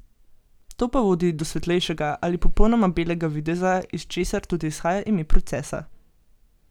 To pa vodi do svetlejšega ali popolnoma belega videza, iz česar tudi izhaja ime procesa.